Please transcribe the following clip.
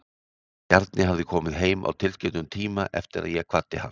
Bjarni hafði komið heim á tilskildum tíma eftir að ég kvaddi hann.